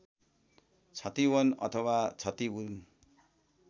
छतिवन अथवा छतिउन